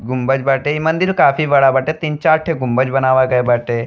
गुम्बज बाटे। ई मंदिल काफी बड़ा बाटे। तीन चार ठे गुम्बज बनावा गए बाटे।